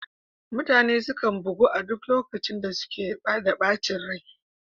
Mutane sukan bugu a duk lokacin da suke da ɓacin rai